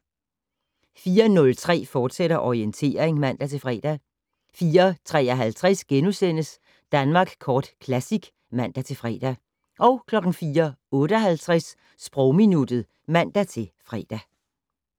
04:03: Orientering, fortsat (man-fre) 04:53: Danmark Kort Classic *(man-fre) 04:58: Sprogminuttet (man-fre)